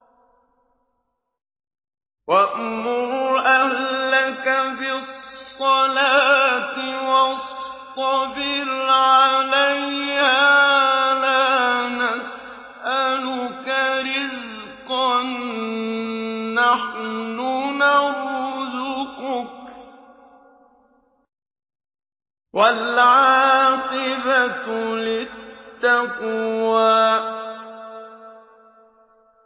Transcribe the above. وَأْمُرْ أَهْلَكَ بِالصَّلَاةِ وَاصْطَبِرْ عَلَيْهَا ۖ لَا نَسْأَلُكَ رِزْقًا ۖ نَّحْنُ نَرْزُقُكَ ۗ وَالْعَاقِبَةُ لِلتَّقْوَىٰ